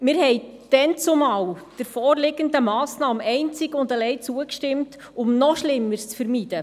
Wir stimmten der vorliegenden Massnahme damals einzig und allein zu, um noch Schlimmeres zu vermeiden.